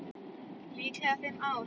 Líklega fimm ára.